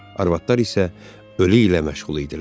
Arvadlar isə ölü ilə məşğul idilər.